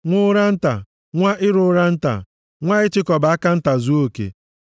Nwa ụra nta, nwa iru ụra nta, nwa ịchịkọba aka nta zuo ike